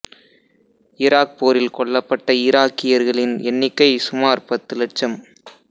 Iraq போரில் கொல்லப்பட்ட ஈராக்கியர்களின் எண்ணிக்கை சுமார் பத்து லட்சம்